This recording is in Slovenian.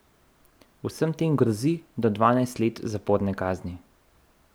Vsem tem grozi do dvanajst let zaporne kazni.